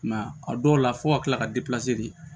I m'a ye a dɔw la fo ka kila ka di